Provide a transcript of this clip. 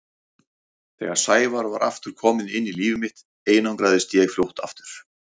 Þegar Sævar var aftur kominn inn í líf mitt einangraðist ég fljótt aftur.